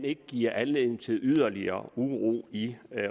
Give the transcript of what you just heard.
ikke giver anledning til yderligere uro i